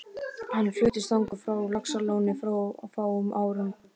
Hann fluttist þangað frá Laxalóni fyrir fáum árum.